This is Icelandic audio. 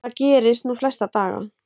Það gerist nú flesta daga.